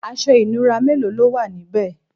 aṣọ ìnura mélòó lówà níbe?